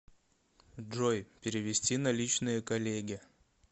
джой перевести наличные коллеге